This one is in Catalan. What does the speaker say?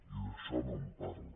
i d’això no en parla